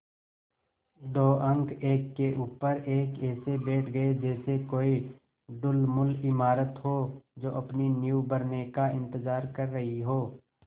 दो अंक एक के ऊपर एक ऐसे बैठ गये जैसे कोई ढुलमुल इमारत हो जो अपनी नींव भरने का इन्तज़ार कर रही हो